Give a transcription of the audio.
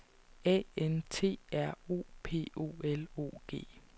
A N T R O P O L O G